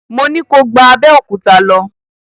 Mo ní ko gba Abẹ́òkúta lọ!